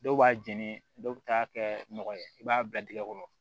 Dɔw b'a jeni dɔw be taa kɛ nɔgɔ ye i b'a bila tigɛ kɔrɔ